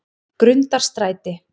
Grundarstræti